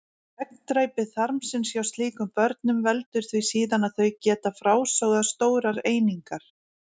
Gegndræpi þarmsins hjá slíkum börnum veldur því síðan að þau geta frásogað stórar einingar.